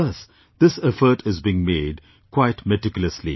Thus this effort is being made quite meticulously